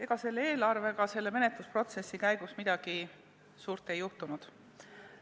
Ega selle eelarvega menetlusprotsessi käigus midagi suurt ei juhtunud.